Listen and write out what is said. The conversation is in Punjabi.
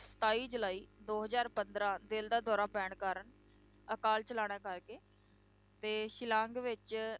ਸਤਾਈ ਜੁਲਾਈ ਦੋ ਹਜ਼ਾਰ ਪੰਦਰਾਂ ਦਿਲ ਦਾ ਦੌਰਾ ਪੈਣ ਕਾਰਨ ਅਕਾਲ ਚਲਾਣਾ ਕਰ ਗਏ ਤੇ ਸ਼ਿਲਾਂਗ ਵਿੱਚ